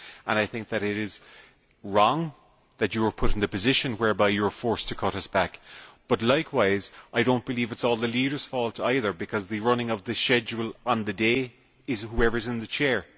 I think that it is wrong that you were put in the position whereby you were forced to cut us back, but likewise, I do not believe it is all the leaders' fault either, because the running of the schedule on the day is for whoever is in the Chair.